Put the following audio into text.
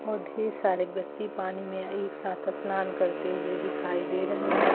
बहुत ढ़ेर सारे व्यक्ति पानी में एक साथ स्नान करते हुए दिखाई दे रहे हैं।